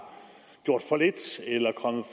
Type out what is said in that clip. gjort